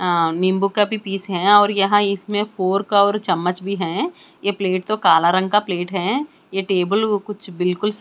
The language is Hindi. आ नींबू का भी पीस है और यहाँ इसमें फोर्क और चम्मच भी है यह प्लेट तो काला रंग का प्लेट है यह टेबल कुछ बिल्कुल --